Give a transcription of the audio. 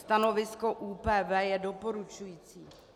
Stanovisko ÚPV je doporučující.